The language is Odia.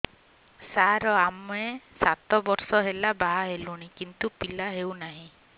ସାର ଆମେ ସାତ ବର୍ଷ ହେଲା ବାହା ହେଲୁଣି କିନ୍ତୁ ପିଲା ହେଉନାହିଁ